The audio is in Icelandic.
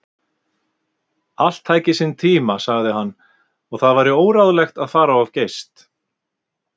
Allt tæki sinn tíma, sagði hann, og það væri óráðlegt að fara of geyst.